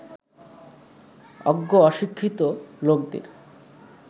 অজ্ঞ অশিক্ষিত লোকদের